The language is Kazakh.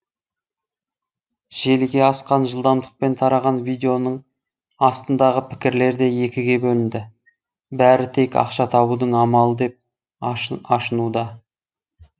желіге асқан жылдамдықпен тараған видеоның астындағы пікірлер де екіге бөлінді бәрі тек ақша табудың амалы деп ашынуда